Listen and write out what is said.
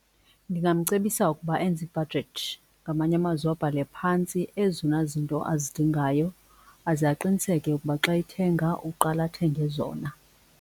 Ndingamcebisa ukuba enze ibhajethi, ngamanye amazwi abhale phantsi ezona zinto azidingayo aze aqiniseke ukuba xa ethenga uqale athenge zona.